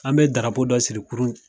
An be darapo dɔ siri kurun